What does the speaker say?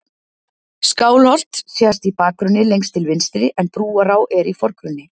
skálholt sést í bakgrunni lengst til vinstri en brúará er í forgrunni